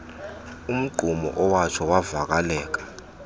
umgqumo owatsho wavaleka